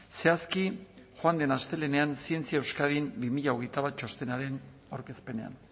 zehazki joan den astelehenean zientzia euskadin bi mila hogeita bat txostenaren aurkezpenean